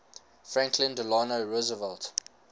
franklin delano roosevelt